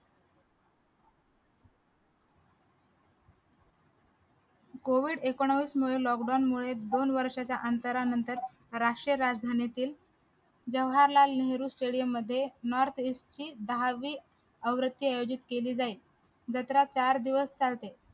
covid एकोणीस मुळे lockdown मुळे दोन वर्षाच्या अंतरानंतर राष्ट्रीय राजधानीतील जवाहरलाल नेहरू stadium मध्ये north east ची दहावी आयोजित केली जाईल जत्रा चार दिवस चालते